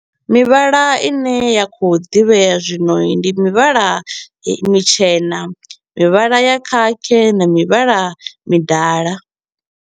Mivhala i ne ya kho u ḓivhea zwino i ndi mivhala mitshena, mivhala ya khakhi na mivhala midala.